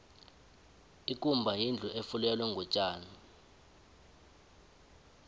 ikumba yindlu efulelwe ngotjani